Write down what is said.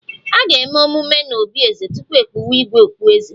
A ga-eme emume n'obí eze tupu e kpuwe 'igwe' okpueze